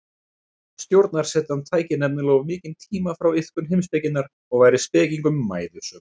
Stjórnarsetan tæki nefnilega of mikinn tíma frá iðkun heimspekinnar og væri spekingnum mæðusöm.